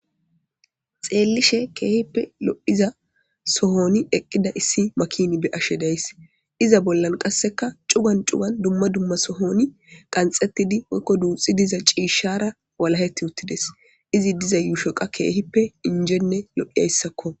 xeellishe keehippe lo7iza sohoni eqqida issi makin be ashe days iza bollan qasseka cugan cugan dumma dumma sohoni qanxettidi woykko duuxi diza ciishshara walaheti uttides izi diza yuushoqa keehippe injenne lo7hiyayssakko